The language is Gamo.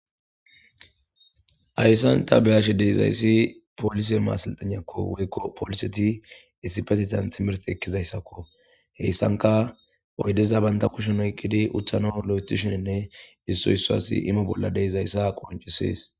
Haysan ta be'ashe de'izaysi polise maseltegnako woyko poliseti issipetetan timirte ekizaysko, hesanka oydeza banta kusheni oykidi utanawu lo'etishenne issoy issuwasi imo bolla dizaysa qoncises.